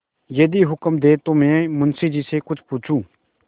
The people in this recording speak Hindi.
यदि हुक्म दें तो मैं मुंशी जी से कुछ पूछूँ